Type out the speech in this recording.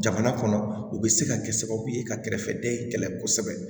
Jamana kɔnɔ o bɛ se ka kɛ sababu ye ka kɛrɛfɛden kɛlɛ kosɛbɛ